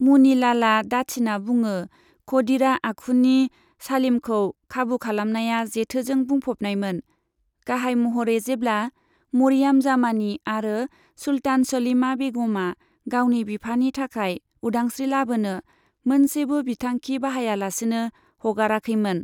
मुनि लालआ दाथिना बुङो, खदिरा आखुनि सालिमखौ खाबु खालामनाया जेथोजों बुंफबनायमोन, गाहाय महरै जेब्ला मरियाम जामानी आरो सुल्तान सलीमा बेगमआ गावनि बिफानि थाखाय उदांस्री लाबोनो मोनसेबो बिथांखि बाहायालासिनो हगाराखैमोन।